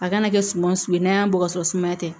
A kana kɛ suma sugu ye n'a y'a bɔ ka sɔrɔ sumaya tɛ